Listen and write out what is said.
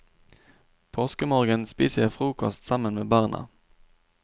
Påskemorgen spiser jeg frokost sammen med barna.